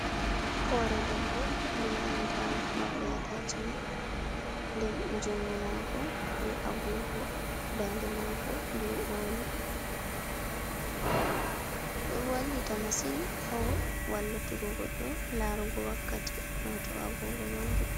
Hore debbo be nanta morɗi atashmen, nden jungo mako be agogo dande mako be oldi ɗo wallita masin ha wallutugo goɗɗo larugo wakkati ha to agogo majum.